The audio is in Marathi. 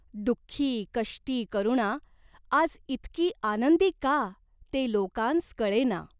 दुख्खी कष्टी करुणा आज इतकी आनंदी का ते लोकांस कळेना.